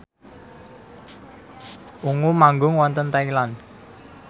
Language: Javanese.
Ungu manggung wonten Thailand